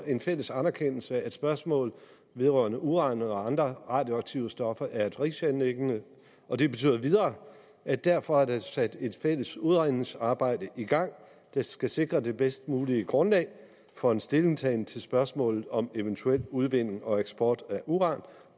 en fælles anerkendelse af at spørgsmål vedrørende uran og andre radioaktive stoffer er et fælles anliggende det betyder videre at derfor er der sat et fælles udredningsarbejde i gang der skal sikre det bedst mulige grundlag for en stillingtagen til spørgsmålet om eventuel udvinding og eksport af uran